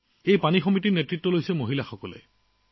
এই জল সমিতিসমূহৰ নেতৃত্বত আছে মহিলা